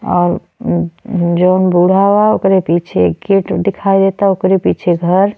और न्-न् जौन बूढ़ा वा ओकरे पीछे गेट दिखाई दे ता ओकरे पीछे घर --